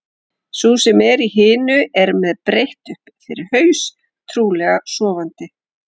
Sú sem er í hinu er með breitt upp fyrir haus, trúlega sofandi.